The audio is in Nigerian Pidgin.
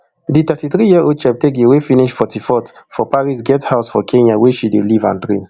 di thirty-three year old cheptegei wey finish forty-fourth for paris get house for kenya wia she dey live and train